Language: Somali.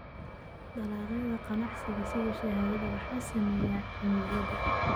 Dalagyada ganacsiga sida shaaha waxaa saameeya cimilada.